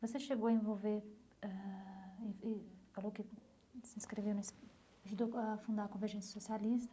Você chegou a envolver ãh, e e falou que se inscreveu nesse ajudou a fundar a Convergência Socialista,